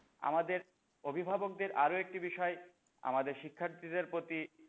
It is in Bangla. আমাদের অভিভাবকদের আরও একটি বিষয় আমাদের শিক্ষার্থীদের প্রতি,